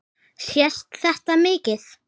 Sést þetta mikið?